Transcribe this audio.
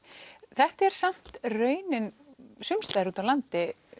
þetta er samt raunin sums staðar út á landi